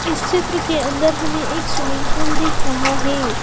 इस चित्र के अंदर हमें एक स्विमिंग पूल दिख रहा है।